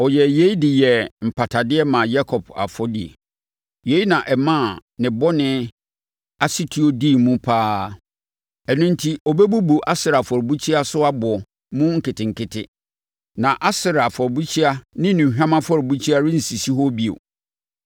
Ɔyɛɛ yei de yɛɛ mpatadeɛ maa Yakob afɔdie; yei na ɛmaa ne bɔne asetuo dii mu pa ara: Ɛno enti ɔbɛbubu Asera afɔrebukyia so aboɔ mu nketenkete, na Asera afɔrebukyia ne nnuhwam afɔrebukyia rensisi hɔ bio.